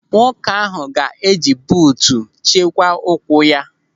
Nwoke ahụ ga-eji buutu chekwaa ụkwụ ya.